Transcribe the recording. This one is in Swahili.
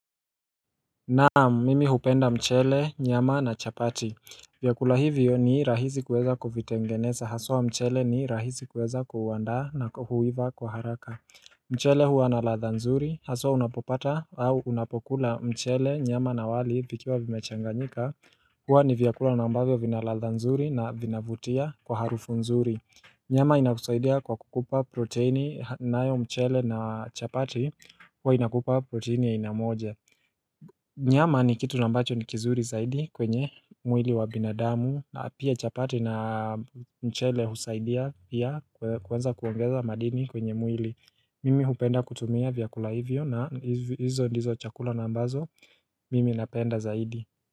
Naam mimi hupenda mchele nyama na chapati vyakula hivyo ni rahisi kuweza kuvitengeneza haswa mchele ni rahisi kuweza kuandaa na huiva kwa haraka mchele huwa na ladha nzuri haswa unapopata au unapokula mchele nyama na wali vikiwa vimechanganyika huwa ni vyakula unambavyo vinaladha nzuri na vinavutia kwa harufu nzuri nyama inakusaidia kwa kukupa proteini nayo mchele na chapati huwa inakupa proteini ya aina moja Nyama ni kitu na ambacho ni kizuri zaidi kwenye mwili wa binadamu na pia chapati na mchele husaidia pia kueza kuongeza madini kwenye mwili Mimi hupenda kutumia vyakula hivyo na hizo ndizo chakula na ambazo mimi napenda zaidi.